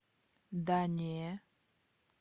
да не